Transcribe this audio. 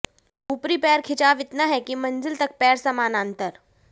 ऊपरी पैर खिंचाव इतना है कि मंजिल तक पैर समानांतर